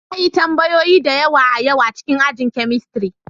Na yi tambayoyi da yawa a yau a cikin ajin chemistry.